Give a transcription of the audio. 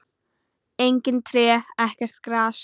Engin tré, ekkert gras.